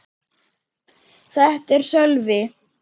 Þetta er Sölvi.